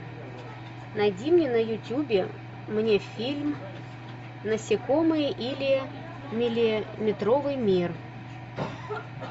найди мне на ютубе мне фильм насекомые или миллиметровый мир